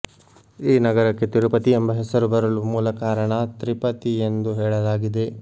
ಈ ನಗರಕ್ಕೆ ತಿರುಪತಿ ಎಂಬ ಹೆಸರು ಬರಲು ಮೂಲ ಕಾರಣ ತ್ರಿಪತಿ ಎಂದು ಹೇಳಲಾಗಿದೆ